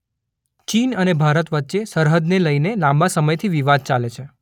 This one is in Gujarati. ચીન અને ભારત વચ્ચે સરહદને લઈને લાંબા સમયથી વિવાદ ચાલે છે.